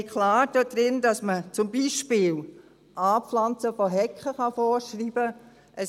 Wir haben klar dort drin, dass man zum Beispiel das Anpflanzen von Hecken vorschreiben kann.